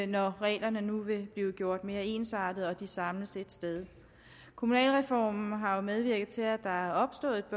når reglerne nu vil blive gjort mere ensartede og de samles ét sted kommunalreformen har jo medvirket til at der er opstået et